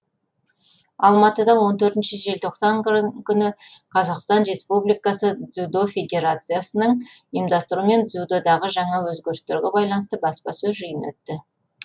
алматыда он төртінші желтоқсан күні қазақстан республикасы дзюдо федерациясының ұйымдастыруымен дзюдодағы жаңа өзгерістерге байланысты баспасөз жиыны өтті